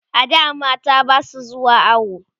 a da mata Basu zuwa awo